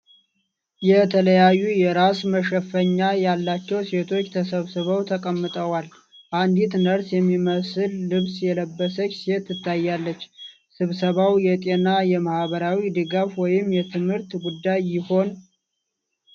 የተለያዩ የራስ መሸፈኛ ያላቸው ሴቶች ተሰብስበው ተቀምጠዋል፤ አንዲት ነርስ የሚመስል ልብስ የለበሰች ሴት ትታያለች። ስብሰባው የጤና፣ የማኅበራዊ ድጋፍ ወይም የትምህርት ጉዳይ ይሆን?